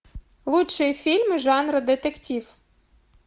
лучшие фильмы жанра детектив